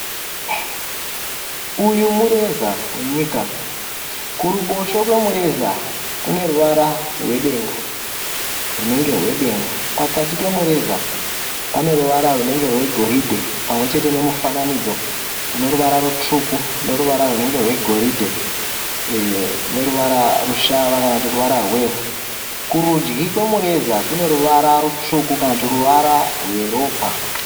Uyu mureza wenyika kuruboshwe kwemureza kuneruva rwedenga runenge rwedenga. Pakati pemureza paneruvara rwunenge rwegoridhe pamwechete nemufananidzo unoruvara rutsvuku neruvara rwunenge rwegoridhe neruvara rushava kana kuti ruvara rwevhu. Kurudyi kwemureza kuneruvara rutsvuku kana kuti ruvara rweropa.